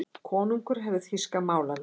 Konungur hefur þýska málaliða.